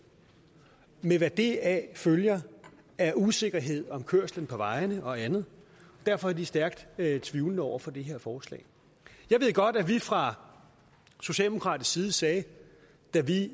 med hvad deraf følger af usikkerhed om kørslen på vejene og andet derfor er vi stærkt tvivlende over for det her forslag jeg ved godt at vi fra socialdemokratisk side sagde da vi